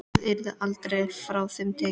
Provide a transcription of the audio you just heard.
Það yrði aldrei frá þeim tekið.